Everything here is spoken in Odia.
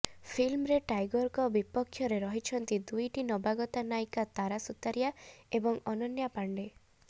ଫିଲ୍ମରେ ଟାଇଗରଙ୍କ ବପକ୍ଷରେ ରହିଛନ୍ତି ଦୁଇଟି ନବାଗତା ନାୟିକା ତାରା ସୁତାରିଆ ଏବଂ ଅନନ୍ୟା ପାଣ୍ଡେ